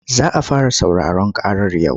Za a fara sauraron ƙarar yau.